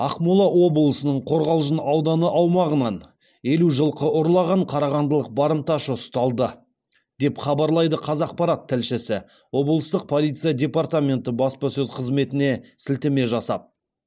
ақмола облысының қорғалжын ауданы аумағынан елу жылқы ұрлаған қарағандылық барымташы ұсталды деп хабарлайды қазақпарат тілшісі облыстық полиция департаменті баспасөз қызметіне сілтеме жасап